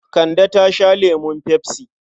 Kande ta sha lemun pepsi.